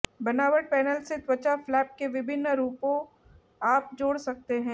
बनावट पैनल से त्वचा फ्लैप के विभिन्न रूपों आप जोड़ सकते हैं